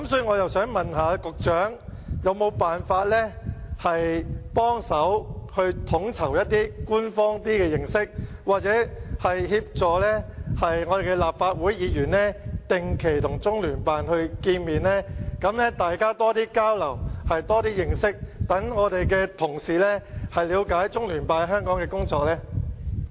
我想問局長，有否辦法協助統籌一些較官方的方法，協助立法會議員定期與中聯辦見面，大家增加交流、認識，讓我們的同事了解中聯辦在香港的工作呢？